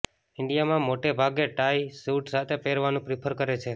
ઇન્ડિયામાં મોટે ભાગે ટાઇ સૂટ સાથે પહેરવાનું પ્રિફર કરે છે